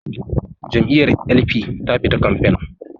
Jam'iyyar L.p ta fita kamfe